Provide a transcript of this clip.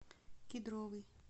кедровый